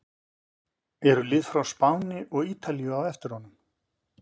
Eru lið frá Spáni og Ítalíu á eftir honum?